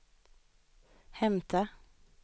hämta